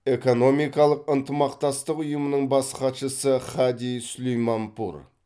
экономикалық ынтымақтастық ұйымының бас хатшысы хади сулейманпур